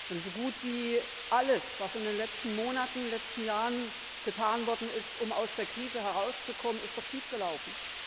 Denn so gut wie alles, was in den letzten Monaten und Jahren getan worden ist, um aus der Krise herauszukommen, ist doch schiefgelaufen.